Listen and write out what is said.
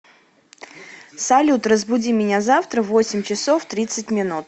салют разбуди меня завтра в восемь часов тридцать минут